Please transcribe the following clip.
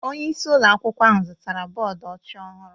Onye isi ụlọ akwụkwọ ahụ zụtara bọọdụ ọcha ọhụrụ.